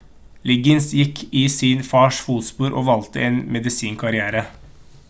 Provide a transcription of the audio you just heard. liggins gikk i sin fars fotspor og valgte en medisinkarriere